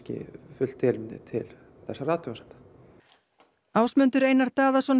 fullt tilefni til þessara athugasemda Ásmundur Einar Daðason